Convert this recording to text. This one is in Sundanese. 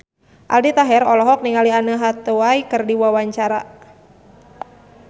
Aldi Taher olohok ningali Anne Hathaway keur diwawancara